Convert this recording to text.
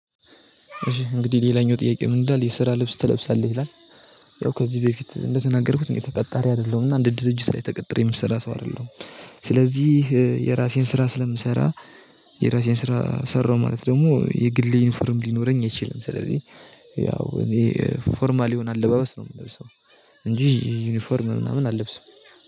እሺ እንግዲህ ሌላኛው ጥያቄ ምን? እንዳለ የስራ ልብስ ትለብሳለህ ይላል ያው ከዚህ በፊት እንደተናገርኩት እኔ ተቀጣሪ አይደለሁም እና እንድድር እጅ ላይ ተቀጥሮ የምትሰራ ሰው አይደለሁም። ስለዚህ የራሴን ስራ ስለምሰራ የራሴን ስራ ሰራሁ ማለት ደግሞ የግል የዩኒፎርም ሊኖረኝ አይችልም። ስለዚህ ያው እኔ ፎርማል የሆነ አለባበስ ነው የምለብሰው እንጂ ዩኒፎርም ምናምን አልለብሰውም